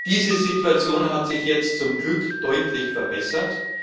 Diese Situation hat sich jetzt zum Glück deutlich verbessert.